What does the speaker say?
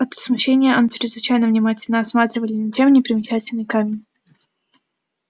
от смущения они чрезвычайно внимательно осматривали ничем не примечательный камень